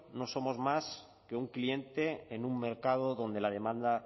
no somos más que un cliente en un mercado donde la demanda